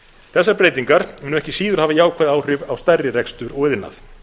þessar breytingar munu ekki síður hafa jákvæð áhrif á stærri rekstur og iðnað